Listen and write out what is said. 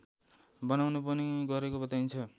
बनाउने पनि गरेको बताइन्छ